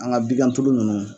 An ŋa bigan tulu nunnu